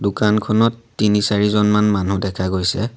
দোকানখনত তিনি চাৰিজনমান মানুহ দেখা গৈছে।